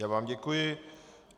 Já vám děkuji.